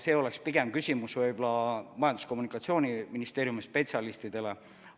See oleks küsimus võib-olla pigem Majandus- ja Kommunikatsiooniministeeriumi spetsialistidele.